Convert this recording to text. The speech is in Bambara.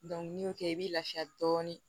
ni y'o kɛ i bɛ lafiya dɔɔnin